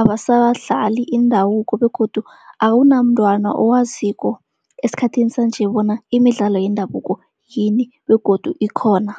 abasadlali indabuko begodu akunamntwana owaziko esikhathini sanje bona imidlalo yendabuko yini begodu ikhona.